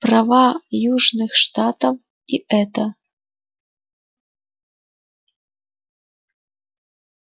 права южных штатов и это